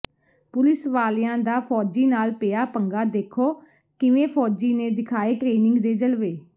police ਵਾਲਿਆਂ ਦਾ ਫੌਜੀ ਨਾਲ ਪਿਆ ਪੰਗਾ ਦੇਖੋ ਕਿਵੇਂ ਫੌਜੀ ਨੇ ਦਿਖਾਏ ਟਰੇਨਿੰਗ ਦੇ ਜਲਵੇ